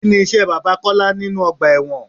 Kini iṣẹ́ bàbá Kọ́lá nínú ọgbà ẹ̀wọ̀n?